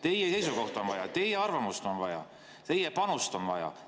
Teie seisukohta on vaja, teie arvamust on vaja, teie panust on vaja.